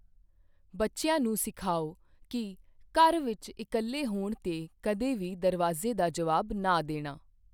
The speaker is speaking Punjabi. ਬੱਚਿਆਂ ਨੂੰ ਸਿਖਾਓ ਕੀ ਘਰ ਵਿਚ ਇਕੱਲੇ ਹੋਣ 'ਤੇ ਕਦੇ ਵੀ ਦਰਵਾਜ਼ੇ ਦਾ ਜਵਾਬ ਨਾ ਦੇਣਾ